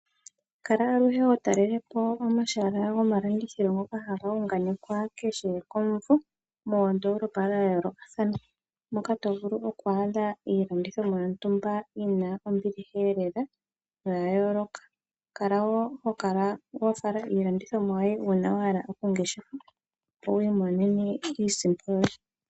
Kala aluhe ho talele po omahala gomalandithilo ngoka ha ga unganekwa kehe komumvo, moondolopa dhayoolokathana, mo ka to vulu oku adha iilandithomwa yontumba yi na ombiliha lela no ya yooloka. Kala wo ho kala wa fala iilandithomwa yo ye uuna wa hala oku ngeshefa opo wu imonene iisimpo yo ye.